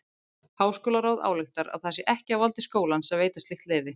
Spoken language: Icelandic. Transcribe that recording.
Háskólaráð ályktar að það sé ekki á valdi skólans að veita slíkt leyfi.